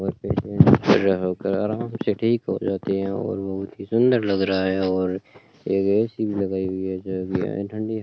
और बहोत ही सुंदर लग रहा है और एक ए_सी भी लगाई हुई है जोकि ठंडी --